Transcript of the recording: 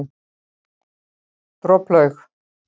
Droplaug